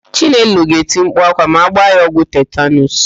Chinelo ga-eti mkpu ákwá ma a gbaa ya ọgwụ tetanuus.